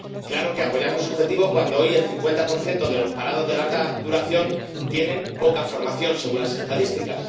Claro que apoyamos sus objetivos cuando hoy el 50 de los parados de larga duración tienen poca formación, según las estadísticas.